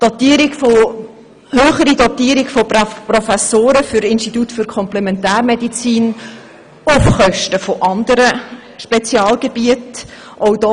Eine höhere Dotierung von Professoren für das Institut für Komplementärmedizin auf Kosten anderer Spezialgebieten wird gefordert.